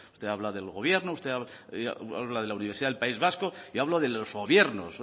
usted habla del gobierno usted habla de la universidad del país vasco yo hablo de los gobiernos